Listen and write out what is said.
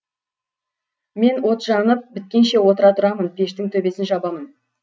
мен от жанып біткенше отыра тұрамын пештің төбесін жабамын